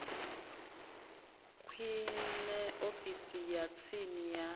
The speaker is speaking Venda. kwame ofisi ya tsini ya